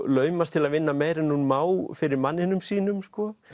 laumast til að vinna meira en hún má fyrir manninum sínum